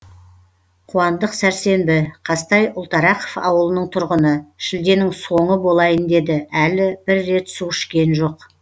қуандық сәрсенбі қазтай ұлтарақов ауылының тұрғыны шілденің соңы болайын деді әлі бір рет су ішкен жоқ